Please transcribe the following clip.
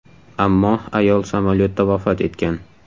Ammo ayol samolyotda vafot etgan.